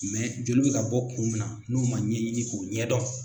joli bɛ ka bɔ kun min na n'u man ɲɛɲini k'o ɲɛdɔn.